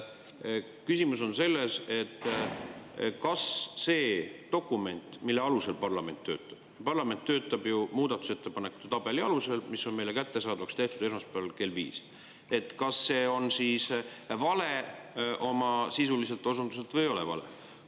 Küsimus on selles, kas see dokument, mille alusel parlament töötab – parlament töötab ju muudatusettepanekute tabeli alusel, mis on meile kättesaadavaks tehtud esmaspäeval kell viis –, on vale oma sisuliselt osunduselt või ei ole vale.